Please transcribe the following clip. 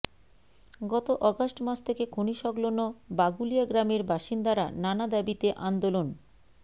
গত অগাস্ট মাস থেকে খনি সংলগ্ন বাগুলিয়া গ্রামের বাসিন্দারা নানা দাবিতে আন্দোলন